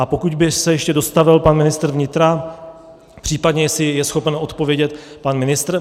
A pokud by se ještě dostavil pan ministr vnitra, případně jestli je schopen odpovědět pan ministr .